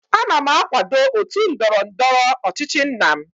ana m akwado otu ndọrọ ndọrọ ọchịchị nna m